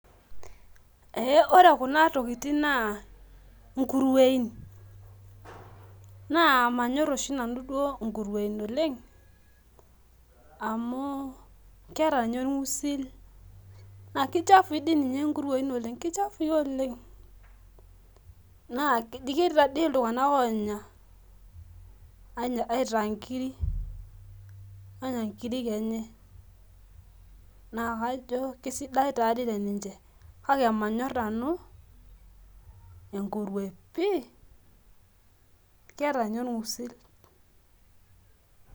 ee ore kuna tokitin naa inkuruein, naa manyor oshi duoo nanu inkuruen oleng amu kichafui oleng, eji naa ketii iltunganak onya aitaa inkirik eji naa manyor nanu amu keeta ninye olng'usil.